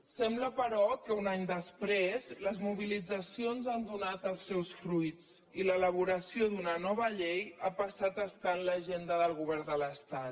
sembla però que un any després les mobilitzacions han donat els seus fruits i l’elaboració d’una nova llei ha passat a estar en l’agenda del govern de l’estat